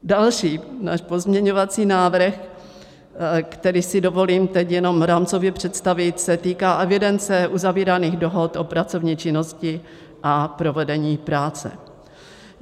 Další náš pozměňovací návrh, který si dovolím teď jenom rámcově představit, se týká evidence uzavíraných dohod o pracovní činnosti a provedení práce.